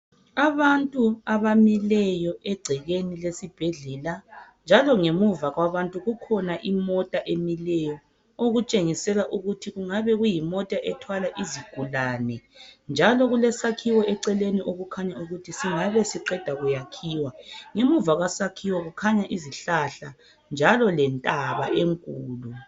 Abantu abamileyo egcekeni lesibhedlela njalo ngemuva kwabantu kukhona imota emileyo okutshengisela ukuthi kungabe kuyimota ethwala izigulane njalo kulesakhiwo eceleni okukhanya ukuthi singabe siqeda kuyakhiwa ngemuva kwesakhiwo kukhanya izihlahla njalo lentaba enkulu.